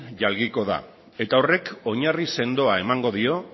jalgiko da eta horrek oinarri sendoa emango dio